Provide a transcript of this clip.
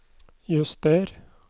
juster